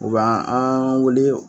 U ba an wele